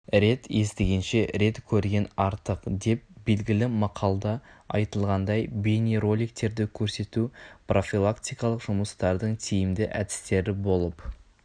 рет естігенше рет көрген артық деп белгілі мақалда айтылғандай бейнероликтерді көрсету профилактикалық жұмыстардың тиімді әдістері болып